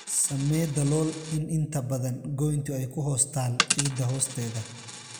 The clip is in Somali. Samee dalool in inta badan goyntu ay ku hoos taal ciidda hoosteeda.